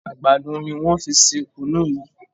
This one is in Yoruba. àgbàdo ní wón fí ṣe kunu yí